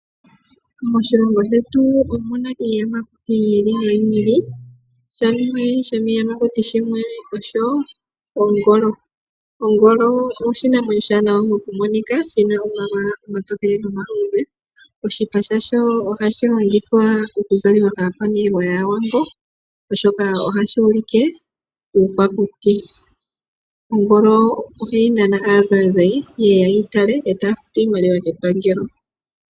Moshilongo shetu omuna iiyamakuti yi ili noyi ili shimwe shomiiyamakuti shimwe yimwe osho ongolo . Ongolo oshinamwemyo oshiwaanawa mokumonika, shina omalwaala omatokele nomaluudhe. Oshipa shasho ohashi longithwa oku zaliwa kaakwaniilwa yaawambo oshoka ohashi ulike uukwakuti. Ongolo ohayi nana aanzayinzayi yeye yeyi tale e taya futu iimaliwa kepangelo.